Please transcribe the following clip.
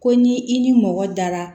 Ko ni i ni mɔgɔ dara